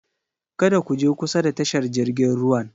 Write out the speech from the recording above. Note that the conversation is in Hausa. Kada ku je kusa da tashar jirgin ruwan!